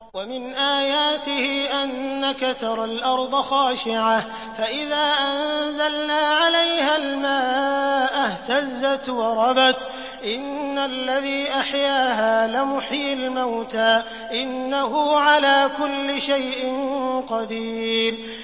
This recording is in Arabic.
وَمِنْ آيَاتِهِ أَنَّكَ تَرَى الْأَرْضَ خَاشِعَةً فَإِذَا أَنزَلْنَا عَلَيْهَا الْمَاءَ اهْتَزَّتْ وَرَبَتْ ۚ إِنَّ الَّذِي أَحْيَاهَا لَمُحْيِي الْمَوْتَىٰ ۚ إِنَّهُ عَلَىٰ كُلِّ شَيْءٍ قَدِيرٌ